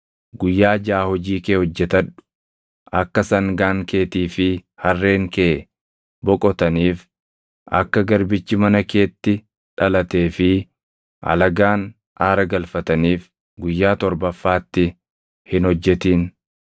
“Guyyaa jaʼa hojii kee hojjetadhu; akka sangaan keetii fi harreen kee boqotaniif, akka garbichi mana keetti dhalatee fi alagaan aara galfataniif guyyaa torbafaatti hin hojjetin.